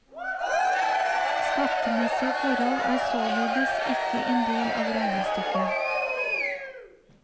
Skattemessige forhold er således ikke en del av regnestykket.